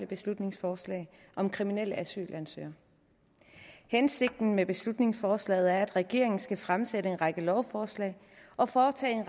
beslutningsforslag om kriminelle asylansøgere hensigten med beslutningsforslaget er at regeringen skal fremsætte en række lovforslag og foretage en